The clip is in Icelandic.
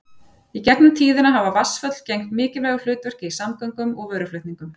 Í gegnum tíðina hafa vatnsföll gegnt mikilvægu hlutverki í samgöngum og vöruflutningum.